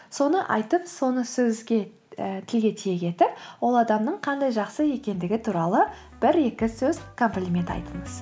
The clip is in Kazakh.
соны айтып соны і тілге тиек етіп ол адамның қандай жақсы екендігі туралы бір екі сөз комплимент айтыңыз